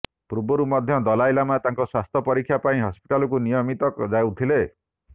ପୂର୍ବରୁ ମଧ୍ୟ ଦଲାଇ ଲାମା ତାଙ୍କ ସ୍ୱାସ୍ଥ୍ୟ ପରୀକ୍ଷା ପାଇଁ ହସ୍ପିଟାଲକୁ ନିୟମିତ ଯାଉଥିଲେ